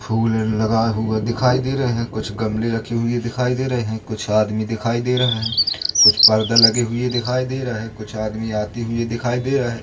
फूल लगाए हुए दिखाई दे रहे हैं कुछ गमले रखी हुई दिखाई दे रहे हैं कुछ आदमी दिखाई दे रहा है कुछ पर्दा लगे हुए दिखाई दे रहा है कुछ आदमी आते हुए दिखाई दे रहा है।